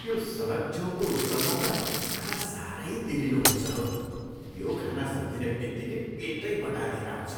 त्यो सडछ छेउको स्टलमा त खाना साह्रै तेलिलो हुन्छ हौ। त्यो खाना सम्झिने बित्तिकै पेटै बटारिएर आउँछ।